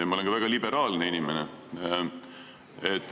Ja ma olen ka väga liberaalne inimene.